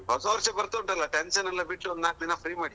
ಹ್ಮ್ ಹೊಸ ವರ್ಷ ಬರ್ತುನ್ಟಲ್ಲ tension ಎಲ್ಲಾ ಬಿಟ್ಟು ಒಂದು ನಾಲ್ಕು ದಿನ free ಮಾಡಿ.